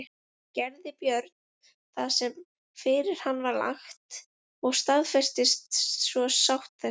Gerði Björn það sem fyrir hann var lagt og staðfestist svo sátt þessi.